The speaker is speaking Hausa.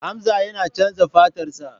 Hamza yana chanza fatarsa.